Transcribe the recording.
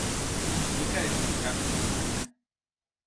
Nekaj, kar nas premakne?